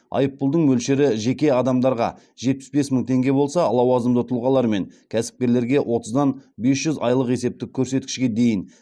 айыппұлдың мөлшері жеке адамдарға жетпіс бес мың теңге болса лауазымды тұлғалар мен кәсіпкерлерге отыздан бес жүз айлық есептік көрсеткішке дейін